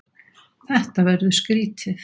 Þetta verður skrýtið.